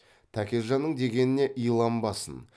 тәкежанның дегеніне иланбасын